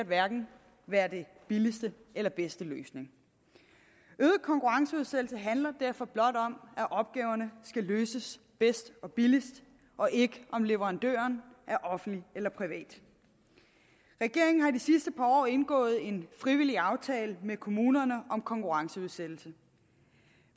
være den billigste eller bedste løsning øget konkurrenceudsættelse handler derfor blot om at opgaverne skal løses bedst og billigst og ikke om hvorvidt leverandøren er offentlig eller privat regeringen har i de sidste par år indgået en frivillig aftale med kommunerne om konkurrenceudsættelse